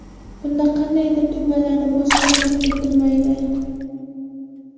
Bunda qandaydir tugmalarni bosish talab etilmaydi.